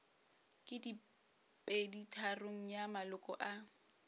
ke peditharong ya maloko a